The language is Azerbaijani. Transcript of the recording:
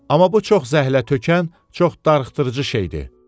Amma bu çox zəhlətökən, çox darıxdırıcı şeydir.